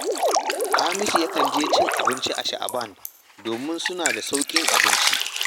Hamisu yakan je cin abinci a Sha’aban domin suna da sauƙin abinci